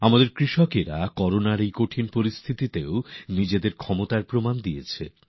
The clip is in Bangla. আমাদের কৃষকেরা কঠিন করোনা পরিস্থিতিতেও নিজেদের শক্তি প্রমান করেছেন